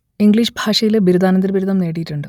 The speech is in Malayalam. ഇംഗ്ലീഷ് ഭാഷയിൽ ബിരുദാനന്തര ബിരുദം നേടിയിട്ടുണ്ട്